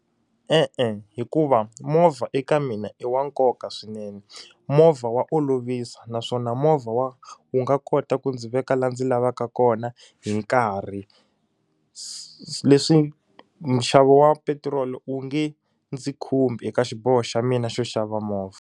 E-e hikuva movha eka mina i wa nkoka swinene movha wa olovisa naswona movha wa wu nga kota ku ndzi veka laha ndzi lavaka kona hi nkarhi se leswi nxavo wa petiroli wu nge ndzi khumbi eka xiboho xa mina xo xava movha.